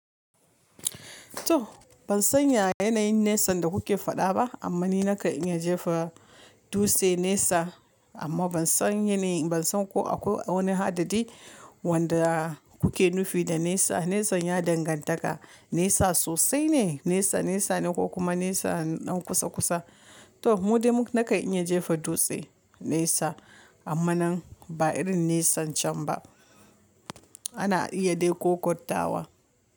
To ban san ya yanayin nisan da kuke faɗa ba amma ni na kan iya jefa dutse nesa amma ban san yanayin ban san ko akwai wani hadadi wanda kuke nufi da nesa. Nesan ya dangantaka nesa sosai ne nesa nesane ko kuma nesa ɗan kusa kusa. To mu dai muka nakan iya jefa dutse nesa amma nan ba irin nesancan ba ana iya dai ƙoƙottawa.